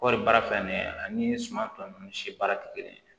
Kɔɔri baara filɛ nin ye ani suma tɔ ninnu si baara tɛ kelen ye